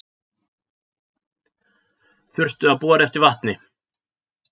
Þurftu að bora eftir vatni